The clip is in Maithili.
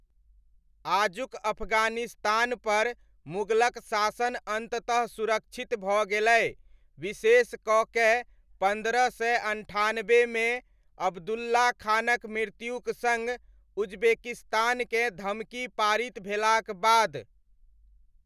आजुक अफगानिस्तानपर मुगलक शासन अन्ततः सुरक्षित भऽ गेलै, विशेष कऽ कए पन्द्रह सय अनठानबेमे अब्दुल्ला खानक मृत्युक सङ्ग उजबेकिस्तानकेँ धमकी पारित भेलाक बाद।